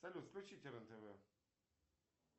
салют включите рен тв